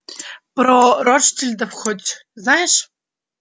про ротшильдов-то хоть знаешь